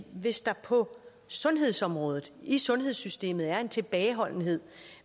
hvis der på sundhedsområdet i sundhedssystemet er en tilbageholdenhed